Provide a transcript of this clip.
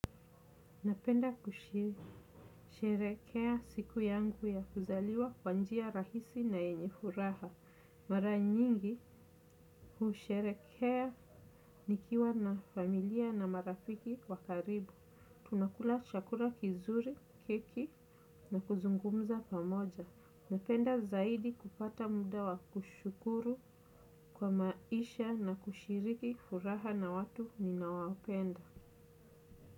Napenda kushirehekea siku yangu ya kuzaliwa kwa njia rahisi na yenye furaha. Mara nyingi kushirehekea nikiwa na familia na marafiki wa karibu. Tunakula chakula kizuri, keki na kuzungumza pamoja. Napenda zaidi kupata muda wa kushukuru kwa maisha na kushiriki furaha na watu ni nawapenda.